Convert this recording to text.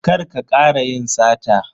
Kar ka kara yin sata.